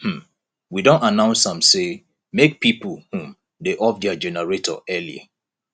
um we don announce am sey make pipo um dey off their generator early